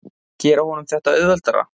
Gera honum þetta auðveldara?